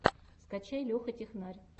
скачай леха технарь